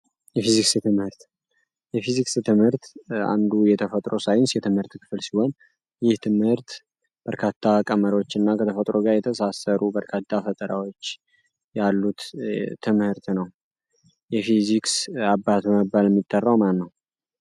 የትምህርትየፊዚክስ ትምህርት አንዱ የተፈጥሮ ሳይንስ የትምህርት ክፍል ሲሆን ይህ ትምህርት በርካታ ቀመሮች እና ከተፈጥሩ ጋይ የተሳሰሩ በርካታ ፈጠራዎች ያሉት ትምህርት ነው የፊዚክስ አባት መባል የሚጠራው ማልነው